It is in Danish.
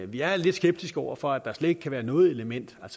vi er lidt skeptiske over for at der slet ikke kan være noget element af